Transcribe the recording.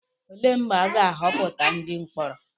Olee mgbe a ga-atọhapụ ndị mkpọrọ?